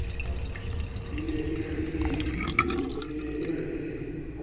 e ne e re e